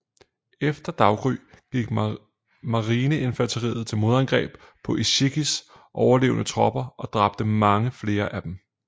Efter daggry gik marineinfanteriet til modangreb på Ichikis overlevende tropper og dræbte mange flere af dem